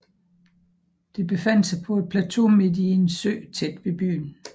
Det befandt sig på en plateau midt i en sø tæt ved byen